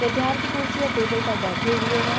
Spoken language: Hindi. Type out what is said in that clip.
विद्यार्थी कुर्सी और टेबल पर बैठे हुए है।